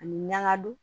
Ani ɲangadon